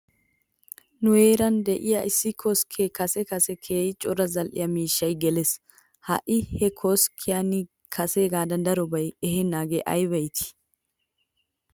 Nu heeran de'iyaa issi koskkiyan kase kase keehi cora zal''e miishshay geles. Ha'i he koskkiyan kaseegaadan darobaa eheenaagee ayba iitii?